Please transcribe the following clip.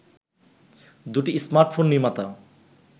দুটি স্মার্টফোন নির্মাতা